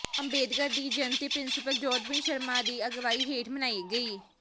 ਅੰਬੇਦਕਰ ਦੀ ਜਯੰਤੀ ਪ੍ਰਿੰਸੀਪਲ ਜੋਧਬੀਰ ਸ਼ਰਮਾ ਦੀ ਅਗਵਾਈ ਹੇਠ ਮਨਾਈ ਗਈ